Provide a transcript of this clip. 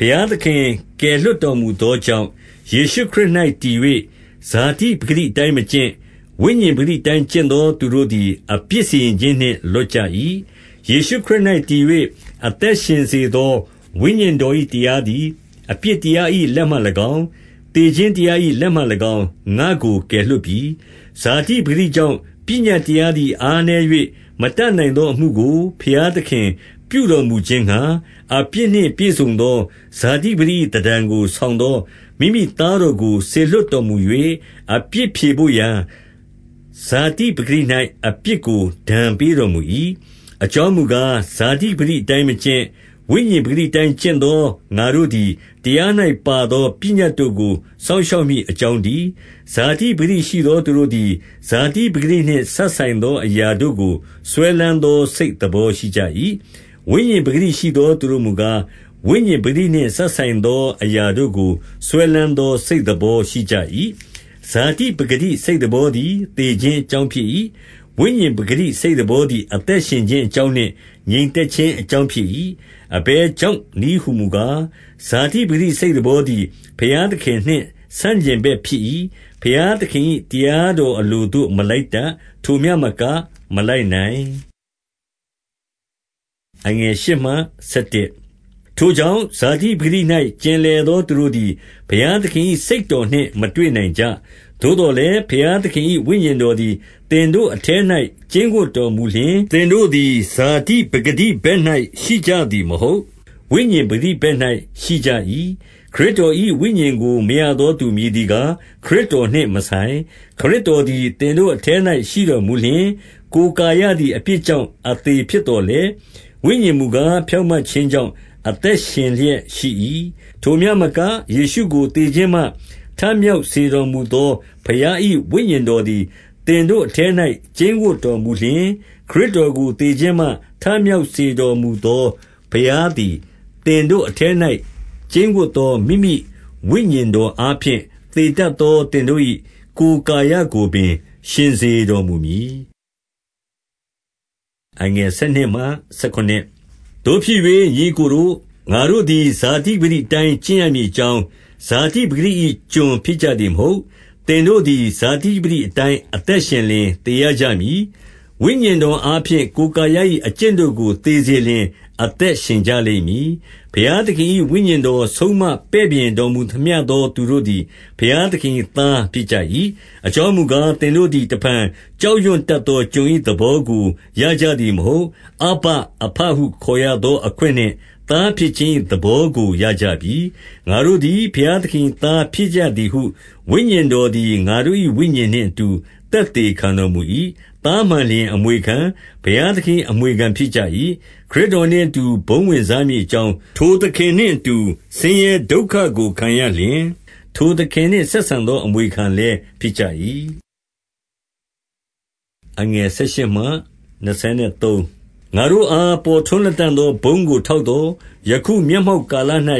ဘုရားသခင်ကယ်လွှတ်တော်မူသောကြောင့် ယေရှုခရစ်၌တည်၍၊ ဇာတိပကတိအတိုင်းမကျင့်၊ ဝိညာဉ် ပကတိအတိုင်း ကျင့်သောသူတို့သည် အပြစ်စီရင်ခြင်း နှင့် လွတ်ကြ၏။ 2 ယေရှုခရစ်၌တည်၍ အသက်ရှင်စေသော ဝိညာဉ်တော်၏တရားသည် အပြစ်တရား၏ လက်မှ၎င်း၊ သေခြင်းတရား၏လက်မှ၎င်း၊ ငါ့ကိုကယ်လွှတ်ပြီ။ 3 ဇာတိပကတိကြောင့် ပညတ်တရားသည် အားနည်း၍ မတတ်နိုင်သောအမှုကို ဘုရားသခင်ပြု တော်မူခြင်းငှါ၊ အပြစ်နှင့်ပြည့်စုံသော ဇာတိပကတိ၏ သဏ္ဌာန်ကို ဆောင်သော မိမိသားတော်ကို စေလွှတ် တော်မူ၍၊ အပြစ်ဖြေဘို့ရာဇာတိပကတိ၌ အပြစ်ကို ဒဏ်ပေးတော်မူ၏။ 4 အကြောင်းမူကား၊ ဇာတိပကတိအတိုင်းမကျင့်၊ ဝိညာဉ်ပကတိအတိုင်း ကျင့်သောငါတို့သည်၊ တရား၌ ပါသောပညတ်တို့ကို စောင့်ရှောက်မည်အကြောင်းတည်း။ 5 ဇာတိပကတိရှိသောသူတို့သည် ဇာတိပကတိ နှင့် စပ်ဆိုင်သော အရာတို့ကိုစွဲလမ်းသော စိတ်သဘော ရှိကြ၏။ ဝိညာဉ်ပကတိရှိသော သူတို့မူကား၊ ဝိညာဉ် ပကတိနှင့်စပ်ဆိုင်သောအရာတို့ကို စွဲလမ်းသော စိတ်သဘောရှိကြ၏။ 6 ဇာတိပကတိစိတ်သဘောသည် သေခြင်းအကြောင်းဖြစ်၏။ ဝိညာဉ်ပကတိစိတ်သဘောသည် အသက်ရှင်ခြင်းအကြောင်းနှင့် ငြိမ်သက်ခြင်းအကြောင်း ဖြစ်၏။ 7 အဘယ်ကြောင့်နည်းဟူမူကား၊ ဇာတိပကတိ စိတ်သဘောသည် ဘုရားသခင်နှင့်ဆန့်ကျင်ဘက်ဖြစ်၏။ ဘုရးသခင်၏ တရားတော်အလို သို့မလိုက်တတ်။ ထိုမျှမကမလိုက်နိုင်။ 8 ထိုကြောင့် ဇာတိပကတိ၌ ကျင်လည်သော သူတို့သည် ဘုရားသခင်၏ စိတ်တော်နှင့်မတွေ့နိုင်ကြ။ 9 သို့သော်လည်း ဘုရားသခင် ဝိညာဉ်တော်သည် သင်တို့အထဲ၌ ကျိန်းဝပ်တော်မူလျှင်၊ သင်တို့သည် ဇာတိပကတိဘက်၌ရှိကြသည်မဟုတ်။ ဝိညာဉ်ပကတိဘက်၌ ရှိကြ၏။ ခရစ်တော်၏ဝိညာဉ်ကိုမရသော သူမည်သည်ကား ခရစ်တော်နှင့်မဆိုင်။ 10 ခရစ်တော်သည် သင်တို့အထဲ၌ရှိတော်မူလျှင်၊ ကိုယ်ကာယသည် အပြစ်ကြောင့်အသေဖြစ်သော်လည်း ဝိညာဉ်မူကား ဖြောင့်မတ်ခြင်းကြောင့် အသက်ရှင်လျက်ရှိ၏။ 11 ထိုမျှမက၊ ယေရှုကိုသေခြင်းမှ ထမြောက်စေတော်မူသော ဘုရား၏ဝိညာဉ်တော်သည် သင်တို့ အထဲ၌ ကျိန်းဝပ်တော်မူလျှင်၊ ခရစ်တော်ကို သေခြင်းမှ ထမြောက်စေတော်မူသော ဘုရားသည် သင်တို့အထဲ၌ ကျိန်းဝတ်သောမိမိဝိညာဉ်တော်အားဖြင့်၊ သေတတ်သော သင်တို့၏ ကိုယ်ကာယကိုပင် ရှင်စေတော်မူမည်။ 12 သို့ဖြစ်၍ ညီအစ်ကိုတို့၊ ငါတို့သည်ဇာတိပကတိအတိုင်းကျင့်ရမည်အကြောင်း၊ ဇာတိပကတိ၏ ကျွန် ဖြစ်ကြသည်မဟုတ်။ 13 သင်တို့သည် ဇာတိပကတိအတိုင်းအသက်ရှင်လျှင် သေရကြမည်။ ဝိညာဉ်တော်အားဖြင့် ကိုယ်ကာယ ၏အကျင့်တို့ကို သေစေလျှင် အသက်ရှင်ကြလိမ့်မည်။ 14 ဘုရားသခင်၏ဝိညာဉ်တော် ဆုံးမပဲ့ပြင်တော် မူသမျှသော သူတို့သည် ဘုရားသခင်၏သားဖြစ်ကြ၏။ 15 အကြောင်းမူကား၊ သင်တို့သည် တဖန်ကြောက် ရွံ့တတ်သော ကျွန်၏သဘောကို ရကြသည်မဟုတ်။ အဗ္ဗအဘဟုခေါ်ရသောအခွင့်နှင့် သားဖြစ်ခြင်း၏ သဘောကိုရကြပြီ။ 16 ငါတို့သည် ဘုရားသခင်၏သားဖြစ်ကြသည်ဟု ဝိညာဉ်တော်သည် ငါတို့၏ဝိညာဉ်နှင့်အတူ သက်သေ ခံတော်မူ၏။ 17 သားမှန်လျှင်အမွေခံ၊ ဘုရားသခင်၏ အမွေခံဖြစ်ကြ၏။ ခရစ်တော်နှင့်အတူ ဘုန်းဝင်စားမည် အကြောင်း၊ ထိုသခင်နှင့်အတူ ဆင်းရဲဒုက္ခကိုခံရလျှင်၊ ထိုသခင်နှင့်ဆက်ဆံသောအမွေခံလည်းဖြစ်ကြ၏။ 18 ငါတို့အား ပေါ်ထွန်းလတံ့သော ဘုန်းကိုထောက်သော်၊ ယခုမျက်မှောက်ကာလ၌